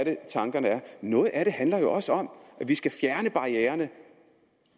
noget af det handler jo også om at vi skal fjerne